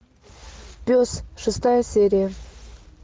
пес шестая серия